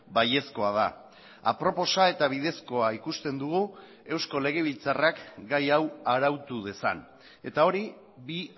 baiezkoa da aproposa eta bidezkoa ikusten dugu eusko legebiltzarrak gai hau arautu dezan eta hori bi